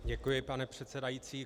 Děkuji, pane předsedající.